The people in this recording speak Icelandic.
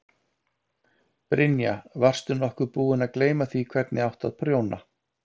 Brynja: Varst nokkuð búin að gleyma því hvernig átti að prjóna?